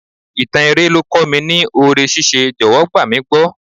Ìtàn eré ló kọ́ mi ní oore ní ṣíṣe, jọ̀wọ́ gbà mí gbọ́.